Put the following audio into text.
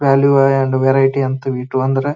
value and variety ಅಂತ ವಿ ಟೂ ಅಂದ್ರ --